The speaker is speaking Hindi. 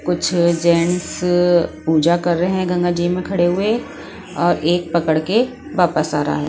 कुछ जेंट्स पूजा कर रहे हैं गंगाजी में खड़े हुए और एक पकड़ के वापस आ रहा है।